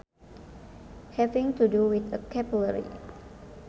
Having to do with a capillary